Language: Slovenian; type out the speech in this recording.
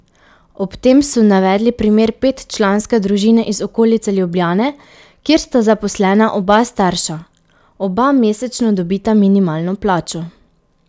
Ob tem so navedli primer petčlanske družine iz okolice Ljubljane, kjer sta zaposlena oba starša: "Oba mesečno dobita minimalno plačo.